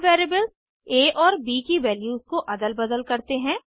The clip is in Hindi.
अब वेरिएबल्स आ और ब की वैल्यूज को अदल बदल करते हैं